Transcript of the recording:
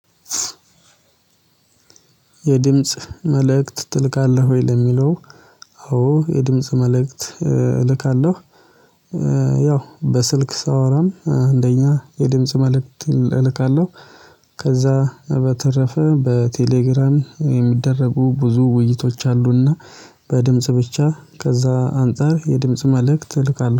የድምጽ መልእክት ትልካለህ ወይ? ለሚለው አዎ የድምጽ መልእክት እልካለሁ ያው በስልክ ሳወራም እንደኛ የድምጽ መልእክት እልካለሁ ከዛ በተረፈ በቴሌግራም የሚደረጉ ብዙ ውይይቶች አሉና በድምጽ ብቻ ከዛ አንፃር የድምጽ መልእክት እልካለሁ